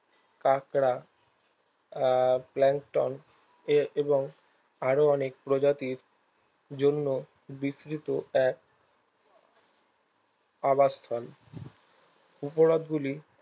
কাঁকড়া আর এবং আরো অনেক প্রজাতির জন্য বিস্তৃত এক আবাসস্থল উপহ্রদগুলি